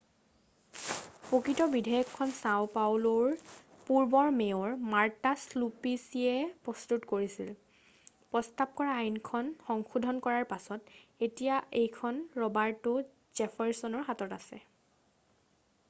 প্ৰকৃত বিধেয়কখন চাও পাউলোৰ পূৰ্বৰ মেয়ৰ মাৰ্টা চুপ্লিছিয়ে প্ৰস্তুত কৰিছিল প্ৰস্তাৱ কৰা আইনখন সংশোধন কৰাৰ পাছত এতিয়া এইখন ৰবাৰ্টো জেফাৰৰ্চনৰ হাতত আছে